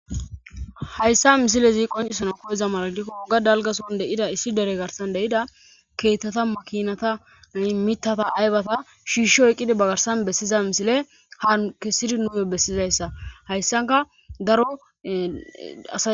Hayssa misile zi qoncisana koyezamaradikko wogga dalgason deida issi dere garsan deida keettata makinata a mitata aybata shiishsh oyqqidi bagarsan bessiza misile ha kessidi nume bessizayssa hayssanka daroa